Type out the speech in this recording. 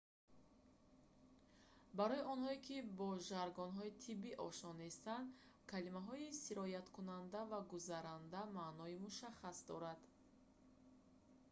барои онҳое ки бо жаргонҳои тиббӣ ошно нестанд калимаҳои «сирояткунанда» ва «гузаранда» маънои мушаххас доранд